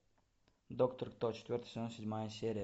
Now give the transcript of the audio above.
доктор кто четвертый сезон седьмая серия